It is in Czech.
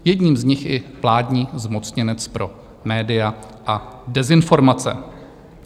Jedním z nich je vládní zmocněnec pro média a dezinformace.